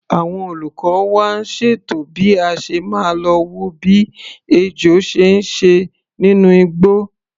Àwọn olùkọ́ wa ń ṣètò bí a ṣe máa lo wo bí ejò ṣe ń ṣe nínú igbó.